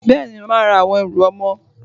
Bẹ́ẹ̀ni, màá ra àwọn ẹrù ọmọ.